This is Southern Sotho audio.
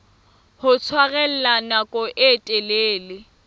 ho tshwarella nako e telele